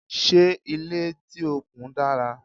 Ṣé ilé tí o kùn dára?